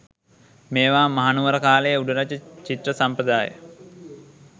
මේවා මහනුවර කාලයේ උඩරට චිත්‍ර සම්ප්‍රදාය